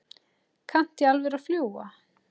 Kanntu í alvöru að fljúga?